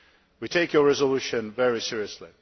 We take your resolution very seriously.